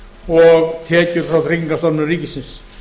og tekjur frá tryggingastofnun ríkisins